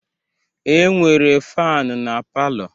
E nwere faanu na palọ.